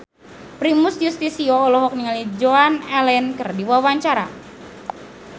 Primus Yustisio olohok ningali Joan Allen keur diwawancara